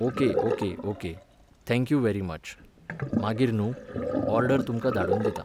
Okay okay okay, thank you very much, मागीर न्हूं, order तुमकां धाडून दितां.